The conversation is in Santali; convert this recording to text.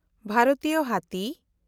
ᱵᱷᱟᱨᱚᱛᱤᱭᱚ ᱦᱟᱹᱛᱤ